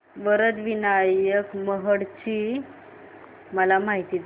वरद विनायक महड ची मला माहिती दे